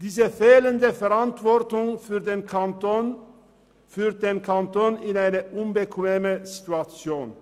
Diese fehlende Verantwortung führt den Kanton in eine unbequeme Situation.